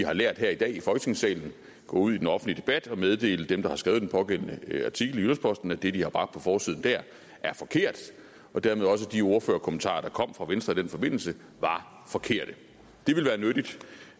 har lært her i dag i folketingssalen gå ud i den offentlige debat og meddele dem der har skrevet pågældende artikel i jyllands posten at det de har bragt på forsiden der er forkert og dermed at også de ordførerkommentarer der kom fra venstre i den forbindelse var forkerte